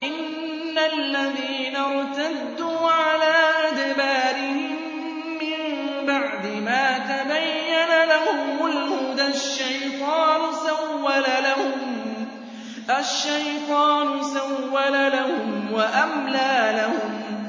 إِنَّ الَّذِينَ ارْتَدُّوا عَلَىٰ أَدْبَارِهِم مِّن بَعْدِ مَا تَبَيَّنَ لَهُمُ الْهُدَى ۙ الشَّيْطَانُ سَوَّلَ لَهُمْ وَأَمْلَىٰ لَهُمْ